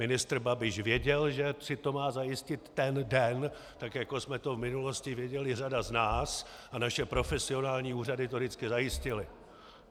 Ministr Babiš věděl, že si to má zajistit ten den, tak jako jsme to v minulosti věděli řada z nás, a naše profesionální úřady to vždycky zajistily.